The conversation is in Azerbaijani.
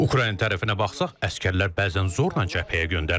Ukrayna tərəfinə baxsaq, əsgərlər bəzən zorla cəbhəyə göndərilir.